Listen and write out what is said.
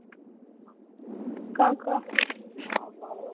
ক ক,